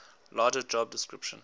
larger job description